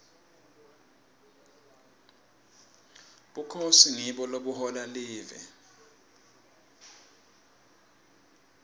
bukhosi ngibo lobuhola live